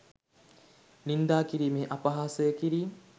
නින්දා කිරීම් අපහාස කිරීම්